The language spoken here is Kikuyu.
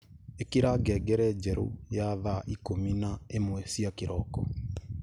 ikira ngengere njeru ya thaa ikumi na imwe cia kiroko